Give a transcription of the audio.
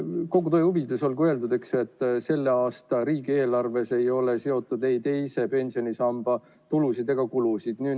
Kogu tõe huvides olgu öeldud, et selle aasta riigieelarves ei ole seotud ei teise pensionisamba tulusid ega kulusid.